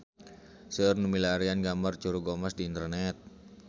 Seueur nu milarian gambar Curug Omas di internet